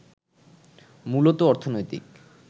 মূলত অর্থনৈতিক